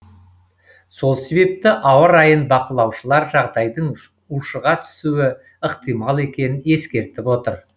сол себепті ауа райын бақылаушылар жағдайдың ушыға түсуі ықтимал екенін ескертіп отыр